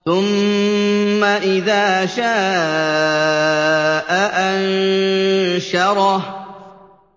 ثُمَّ إِذَا شَاءَ أَنشَرَهُ